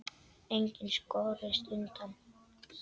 Enginn skorist undan.